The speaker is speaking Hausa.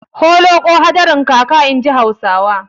Holoƙo hadarin kaka, inji Hausawa.